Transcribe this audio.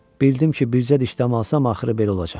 Bildim ki, bircə dişdəm alsam axırı belə olacaq.